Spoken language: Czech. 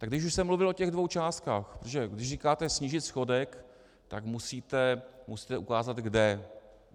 Tak když už jsem mluvil o těch dvou částkách, protože když říkáte snížit schodek, tak musíte ukázat kde.